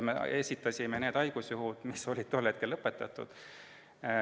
Me esitasime need haigusjuhud, mis olid tol hetkel lõpetatud.